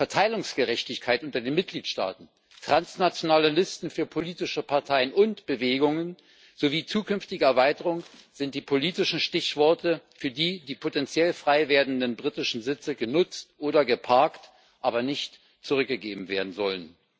Verteilungsgerechtigkeit unter den Mitgliedstaaten, transnationale Listen für politische Parteien und Bewegungen sowie zukünftige Erweiterung sind die politischen Stichworte, für die die potenziell frei werdenden britischen Sitze genutzt oder geparkt, aber nicht zurückgegeben werden sollen.